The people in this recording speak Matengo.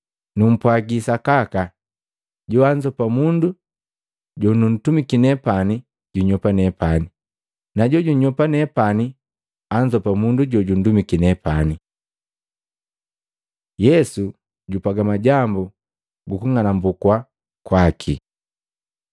Numpwagi sakaka, joanzopa mundu jonuntumiki nepani junyopa nepani, na jojunyopa nepani anzopa jojundumiki nepani.” Yesu jupwaga majambu gu kung'anumbukwa kwaki Matei 26:20-25; Maluko 14:17-21; Luka 22:21-23